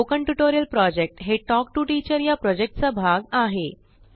spoken tutorial project हाTalk to teacherप्रोजेक्टचा एक भाग आहे